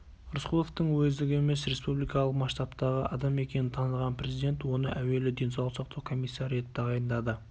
рысқұловтың уездік емес республикалық масштабтағы адам екенін таныған президент оны әуелі денсаулық сақтау комиссары етіп тағайындады